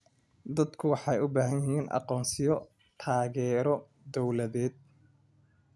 Dadku waxay u baahan yihiin aqoonsiyo taageero dawladeed.